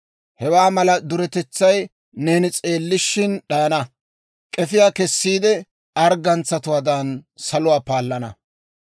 Hewaa mala duretetsay neeni s'eellishshin d'ayana; k'efiyaa kessiide arggantsawaadan, saluwaa paallana.